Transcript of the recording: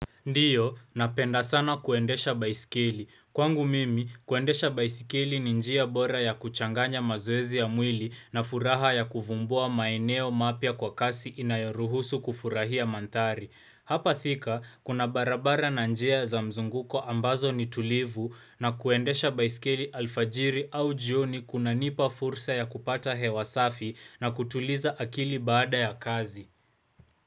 Ndiyo, napenda sana kuendesha baiskeli. Kwangu mimi, kuendesha baiskeli ni njia bora ya kuchanganya mazoezi ya mwili na furaha ya kuvumbua maeneo mapya kwa kasi inayoruhusu kufurahia mandhari. Hapa thika, kuna barabara na njia za mzunguko ambazo ni tulivu na kuendesha baiskeli alfajiri au jioni kuna nipa fursa ya kupata hewa safi na kutuliza akili baada ya kazi.